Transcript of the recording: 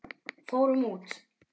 Fórum út!